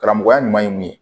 Karamɔgɔya ɲuman ye min ye